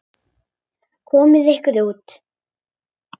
Komiði ykkur út.